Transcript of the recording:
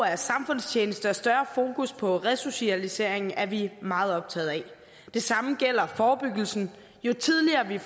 af samfundstjeneste og større fokus på resocialisering er vi meget optaget af det samme gælder forebyggelsen jo tidligere vi